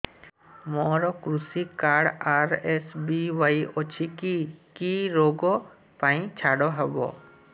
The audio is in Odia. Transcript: ମୋର କୃଷି କାର୍ଡ ଆର୍.ଏସ୍.ବି.ୱାଇ ଅଛି କି କି ଋଗ ପାଇଁ ଛାଡ଼ ହବ